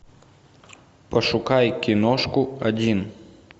пошукай киношку один